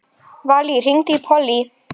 Valey, hringdu í Pollý.